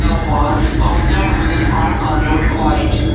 the walls of the room are coloured white.